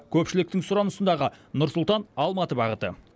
көпшіліктің сұранысындағы нұр сұлтан алматы бағыты